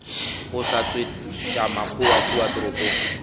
go hlatswetša makgowa kua toropong